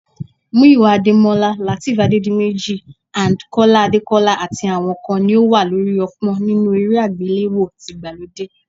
Muyiwa Adémọ́lá, Lateef Adédiméjì and Kọ́lá Adékọ́lá àti àwọn kan ni ó wà lórí ọ̀pọ́n nínú eré àgbéléwò tìgbàlódé